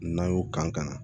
N'a y'o kan ka na